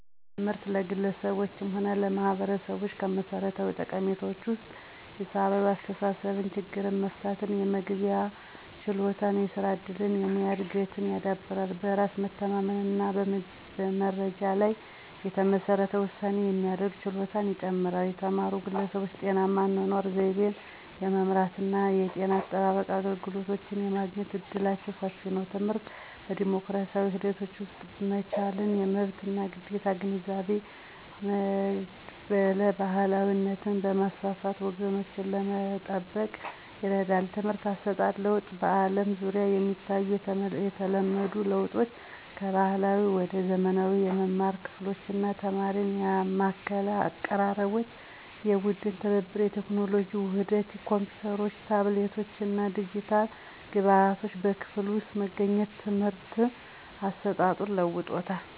ትምህርት ለግለሰቦችም ሆነ ለማህበረሰቦች ከመሠረታዊ ጠቀሜታዎች ውስጥ ሂሳዊ አስተሳሰብን፣ ችግር መፍታትን፣ የመግባቢያ ችሎታን፣ የስራ እድልን፣ የሙያ እድገትን ያዳብራል። በራስ መተማመንን እና በመረጃ ላይ የተመሠረተ ውሳኔ የማድረግ ችሎታን ይጨምራል። የተማሩ ግለሰቦች ጤናማ የአኗኗር ዘይቤን የመምራት እና የጤና አጠባበቅ አገልግሎቶችን የማግኘት እድላቸው ሰፊ ነው። ትምህርት በዲሞክራሲያዊ ሂደቶች ውስጥ መቻቻልን፣ የመብት እና ግዴታ ግንዛቤን፣ መድብለ ባህላዊነትን በማስፋፋት ወጎችን ለመጠበቅ ይረዳል። የትምህርት አሰጣጥ ለውጥ በአለም ዙሪያ የሚታዩ የተለመዱ ለውጦች ከባህላዊ ወደ ዘመናዊ የመማሪያ ክፍሎች እና ተማሪን ያማከለ አቀራረቦች፣ የቡድን ትብብር፣ የቴክኖሎጂ ውህደት ኮምፒውተሮች፣ ታብሌቶች እና የዲጂታል ግብዓቶች በክፍል ውስጥ መገኘት የትምህርት አሰጣጡን ለውጦታል።